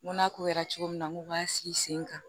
N ko n'a ko kɛra cogo min na n k'u b'an sigi sen kan